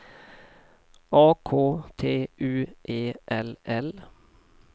A K T U E L L